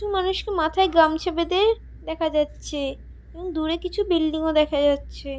মানুষকে মাথায় গামছা বেঁধে দেখা যাচ্ছে এবং দূরে কিছু বিল্ডিং -ও দেখা যাচ্ছে।